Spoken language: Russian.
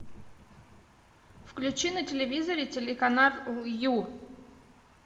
включи на телевизоре телеканал ю